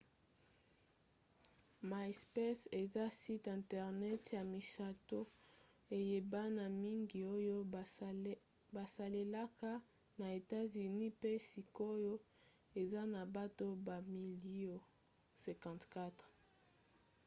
myspace eza site internet ya misato eyebana mingi oyo basalelaka na etats-unis mpe sikoyo eza na bato bamilio 54